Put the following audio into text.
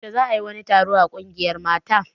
Yaushe za a yi wani taro a ƙungiyar mata?